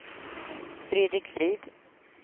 Fredrik Frid